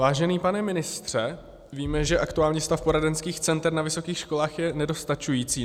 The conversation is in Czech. Vážený pane ministře, víme, že aktuální stav poradenských center na vysokých školách je nedostačující.